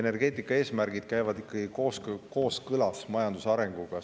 Need eesmärgid käivad ikkagi kooskõlas majanduse arenguga.